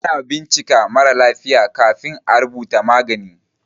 Ana bincika marà lafiya kafin à rubuta magani.